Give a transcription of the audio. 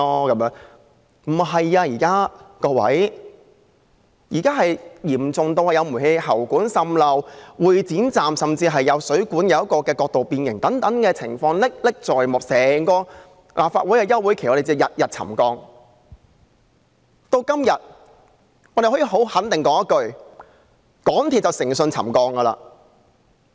各位，不是這樣的，現在問題嚴重至有煤氣喉管滲漏，會展站甚至有水管角度變形，這些情況歷歷在目，在整個立法會休會期間，我們每天均在處理沉降問題。